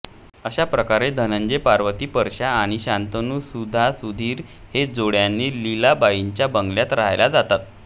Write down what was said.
अशा प्रकारे धनंजय पार्वती परश्या आणि शंतनू सुधा सुधीर हे जोडीने लीलाबाईंच्या बंगल्यात राहायला जातात